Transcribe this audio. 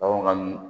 Baganw ka